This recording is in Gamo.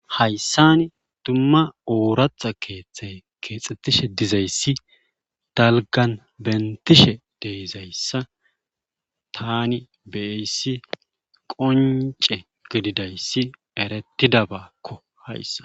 Hayssani dumma oorata keeththay keexxettishe dizayssi talgan bentishe deyzayssa tani beayssi qonce gididayssi erettidabakko hayssa.